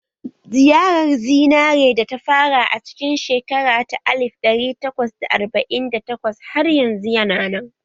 Ziyarar zinare da ta fara a cikin shekara ta alif ɗari takwas da arba'in da takwas har yanzu yana nan